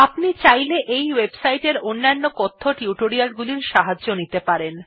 আপনি চাইলে এই ওয়েবসাইট এর অন্য কথ্য টিউটোরিয়াল গুলির সাহায্য নিতে পারেন